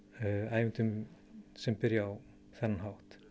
ævintýrum sem byrja á þennan hátt